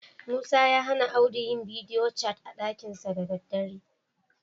Musa ya hana Audu yi bidiyo cat a ɗakinsa da daddare.